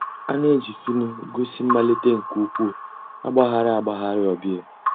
A nà-èjì fhịhị gósì mmàlítè nke ǔ́kwụ̀ àgbàghàrì àgbàghàrì ọ̀ bịa.